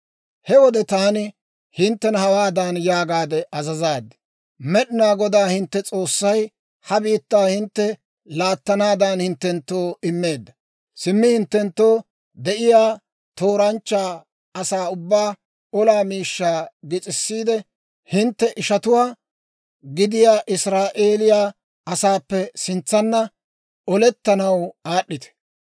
«He wode taani hinttena hawaadan yaagaade azazaad; ‹Med'inaa Godaa hintte S'oossay ha biittaa hintte laattanaadan hinttenttoo immeedda. Simmi hinttenttoo de'iyaa tooranchcha asaa ubbaa olaa miishshaa gis'issiide, hintte ishatuwaa gidiyaa Israa'eeliyaa asaappe sintsanna olettanaw aad'd'ite.